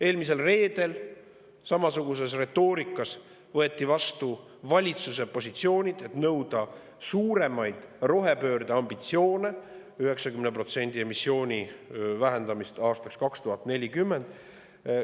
Eelmisel reedel samasuguses retoorikas võeti vastu valitsuse positsioonid nõuda suuremaid rohepöörde ambitsioone – 90% emissiooni vähendamist aastaks 2040.